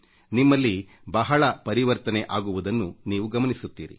ನಿಮ್ಮಲ್ಲಿ ಧನಾತ್ಮಕ ಪರಿವರ್ತನೆ ಆಗುವುದನ್ನು ನೀವೇ ಗಮನಿಸುತ್ತೀರಿ